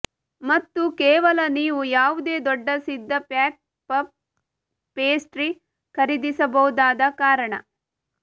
ಮತ್ತು ಕೇವಲ ನೀವು ಯಾವುದೇ ದೊಡ್ಡ ಸಿದ್ಧ ಪ್ಯಾಕ್ ಪಫ್ ಪೇಸ್ಟ್ರಿ ಖರೀದಿಸಬಹುದಾದ ಕಾರಣ